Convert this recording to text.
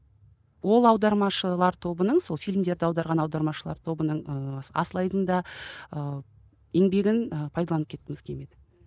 ол аудармашылыр тобының сол фильмдерді аударған аудармашылар тобының ыыы асылайдың да ыыы еңбегін ы пайдаланып кеткіміз келмеді